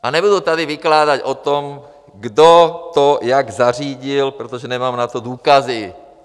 A nebudu tady vykládat o tom, kdo to jak zařídil, protože na to nemám důkazy.